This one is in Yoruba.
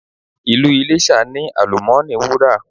Ìlú Iléṣà ní àlùmọ́ọ́nì Wúrà.